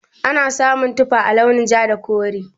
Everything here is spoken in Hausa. Ana samun tufa a launin ja da kore.